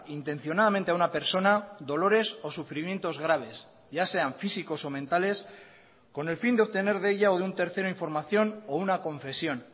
intencionadamente a una persona dolores o sufrimientos graves ya sean físicos o mentales con el fin de obtener de ella o de un tercero información o una confesión